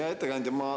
Hea ettekandja!